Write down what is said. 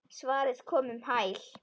Svarið kom um hæl.